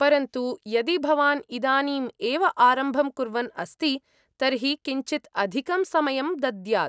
परन्तु, यदि भवान् इदानीम् एव आरम्भं कुर्वन् अस्ति, तर्हि किञ्चित् अधिकं समयं दद्यात्।